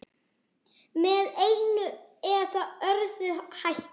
Með einum eða öðrum hætti.